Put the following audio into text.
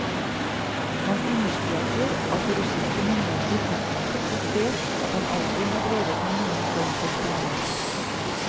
Han understreker at russiske myndigheter utmerket godt vet at han aldri har drevet med noen form for spionasje.